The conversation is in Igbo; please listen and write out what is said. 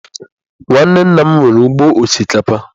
Nwanne nna m nwere ugbo osikapa.